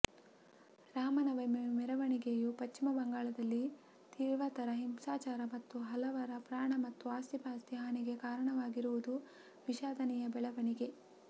ರಾಮನವಮಿ ಮೆರವಣಿಗೆಯು ಪಶ್ಚಿಮ ಬಂಗಾಳದಲ್ಲಿ ತೀವ್ರತರ ಹಿಂಸಾಚಾರ ಹಾಗೂ ಹಲವರ ಪ್ರಾಣ ಮತ್ತು ಆಸ್ತಿಪಾಸ್ತಿ ಹಾನಿಗೆ ಕಾರಣವಾಗಿರುವುದು ವಿಷಾದನೀಯ ಬೆಳವಣಿಗೆ